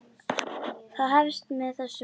Það hefst með þessum hætti: